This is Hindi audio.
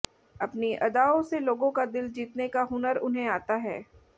अपनी अदाओं से लोगों का दिल जीतने का हुनर उन्हें आता है